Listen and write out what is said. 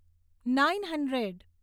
nine hundred